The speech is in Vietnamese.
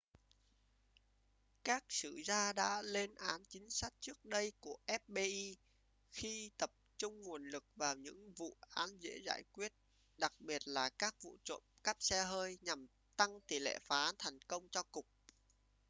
các sử gia đã lên án chính sách trước đây của fbi khi tập trung nguồn lực vào những vụ án dễ giải quyết đặc biệt là các vụ trộm cắp xe hơi nhằm tăng tỷ lệ phá án thành công cho cục